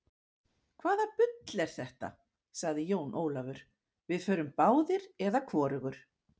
Hvaða bull er þetta, sagði Jón Ólafur, við förum báðir eða hvorugur.